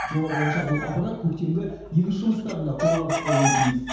жоба бойынша бұл аппарат көктемгі егіс жұмыстарында қолғабыс болуы тиіс